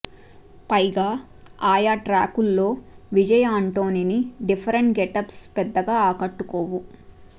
పైగా ఆయా ట్రాకుల్లో విజయ్ ఆంటోనీ డిఫరెంట్ గెటప్స్ పెద్దగా ఆకట్టుకోవు